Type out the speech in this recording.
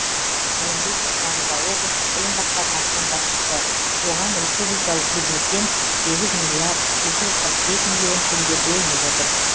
айымгүл тұржанова облыстық білім басқармасының басшысы оған республикалық бюджеттен сегіз миллиард екі жүз қырық бес миллион теңге бөлініп отыр